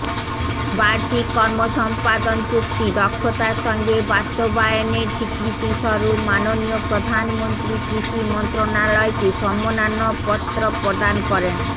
বার্ষিক কর্মসম্পাদন চুক্তি দক্ষতার সঙ্গে বাস্তবায়নের স্বীকৃতিস্বরূপ মাননীয় প্রধানমন্ত্রী কৃষি মন্ত্রণালয়কে সম্মাননাপত্র প্রদান করেন